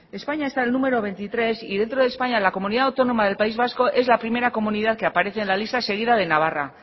españa está en el número veintitrés y dentro de españa la comunidad autónoma del país vasco es la primera comunidad que aparece en la lista seguida de navarra